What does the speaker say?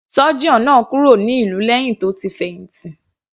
Surgeon náà kúrò ní ìlú lẹ́hìn tó ti fẹ̀hìntì.